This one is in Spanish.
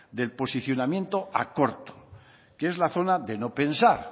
del posicionamiento a corto que es la zona de no pensar